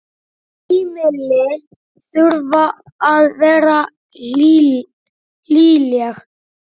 Heimili þurfa að vera hlýleg.